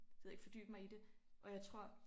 Det ved jeg ikke fordybe mig i det